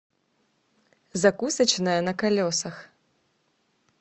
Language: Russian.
закусочная на колесах